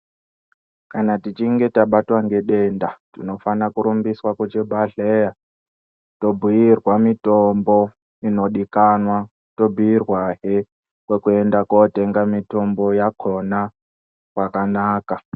Kana tichinge tabatwa ngedenda tinofana kurumbiswa kuzvibhedhleya tobhuirwa mitombo inodikanwa tobhuirwahe kwekuenda kotenga mitombo yakhona kwakanaka.